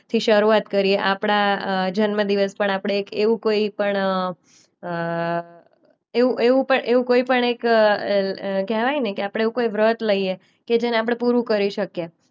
થી શરૂઆત કરીએ. આપણા અ જન્મદિવસ પર આપણે એક એવું કોઈ પણ અ અ એવું એવું પ એવું કોઈ પણ એક અ અ કહેવાય ને કે આપણે એવું કોઈ વ્રત લઈએ કે જેને આપણે પૂરું કરી શકીએ.